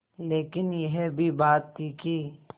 लेकिन यह भी बात थी कि